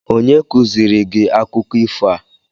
Onye kuziri gi akụkọ ifo a?